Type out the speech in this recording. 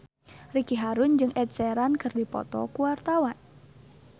Ricky Harun jeung Ed Sheeran keur dipoto ku wartawan